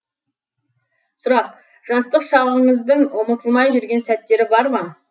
сұрақ жастық шағыңыздың ұмытылмай жүрген сәттері бар ма